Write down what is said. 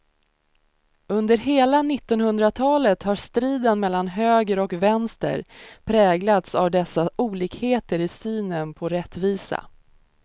Under hela nittonhundratalet har striden mellan höger och vänster präglats av dessa olikheter i synen på rättvisa.